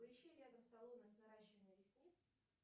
поищи рядом салоны с наращиванием ресниц